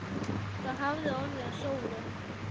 Hvað hafði orðið um Sólu?